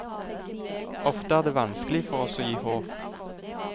Ofte er det vanskelig for oss å gi håp.